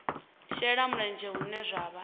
shela mulenzhe hune zwa vha